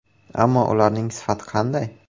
Ammo ularning sifati qanday?